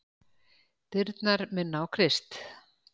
Dyrnar minna á Krist.